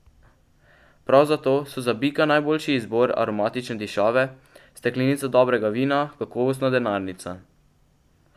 Prav zato so za bika najboljši izbor aromatične dišave, steklenica dobrega vina, kakovostna denarnica.